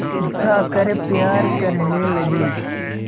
उठाकर प्यार करने लगी